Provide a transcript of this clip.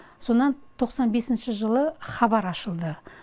содан тоқсан бесінші жылы хабар ашылды